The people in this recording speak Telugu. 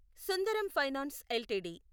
Sundaram finance LTD